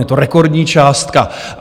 Je to rekordní částka.